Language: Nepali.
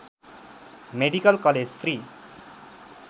medical college Shri